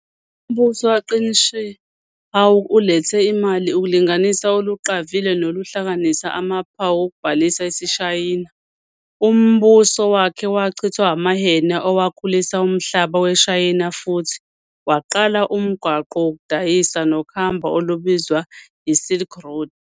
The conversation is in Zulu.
Umbuso kaQin Shi Huang ulethe imali, ukulinganisa oluqavile nokuhlanganisa amaphawu okubhala isiShayina. Umbuso wakhe wachithwa amaHan ewakhulisa umhlaba weShayina futhi waqala umgwaqo wokudayisa nokuhamba olubizwa yi-"Silk Road".